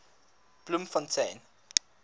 bloemfontein